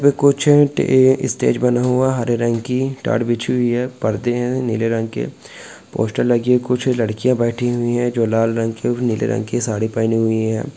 जो कुछ स्टेज बना हुआ है हरे रंग की ताट बीछी हुई है परदे है नीले रंग के पोस्टर लगी है कुछ लड़किया बैठी हुई है जो लाल रंग के अउ नीले रंग के साड़ी पहने हुई हैं।